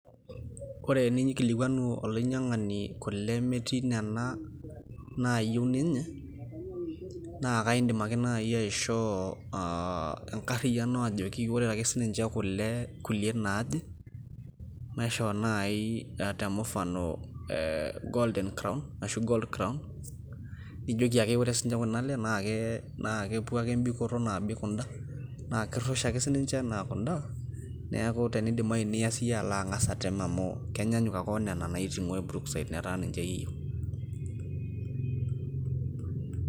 Ore eniyieu neikilikuanu olainyiang'ani kule metii Nena naayieu ninye naa eedim ake sii nayie aishoo engarriyiano ajoki ore ake sininche kule kulie naaje naishoo naisho naaji te mufano golden crown aashu gold crown ejoki ake ore sininche Kuna ale naa kepuo ake ebikoto naabik kuda naa kirrusha ake sininche enaa kuda neaku tenidimayu Niya siyie alo ang'as atem amu kenyanyuk ake onena naitunguari brookside metaa ninche iyie iyieu.